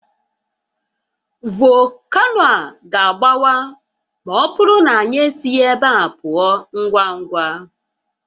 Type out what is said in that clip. Volcano a ga-agbawa ma ọ bụrụ na anyị esighi ebe a pụọ ngwa ngwa